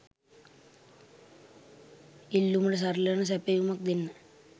ඉල්ලුමට සරිලන සැපයුම දෙන්න